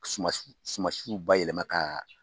Sumasiw bayɛlɛma ka